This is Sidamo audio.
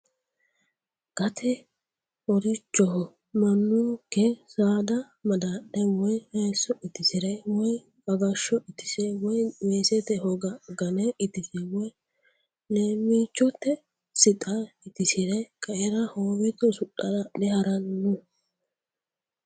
Gate horichoho mannunke saada madadhe woyi hayiso itisire woyi agasho itise woyi weesete hoga gane itise woyi leemichote sixa itisire qaera hoowete usudhara adhe haranno.